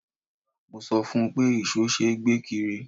Mo sọ fún un pé ìṣó ṣe é gbé kiri.